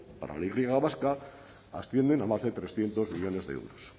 para la y vasca ascienden a más de trescientos millónes de euros